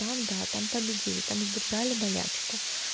там да там победили там сдержали болячку